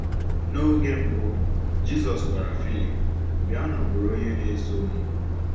N’oge mbụ, Jisọs gwara Filip: “Bịanụ bụrụ onye na-eso m.”